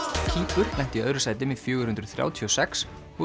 Kýpur lenti í öðru sæti með fjögurhundruð þrjátíu og sex og